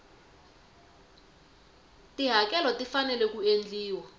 tihakelo ti fanele ku endliwa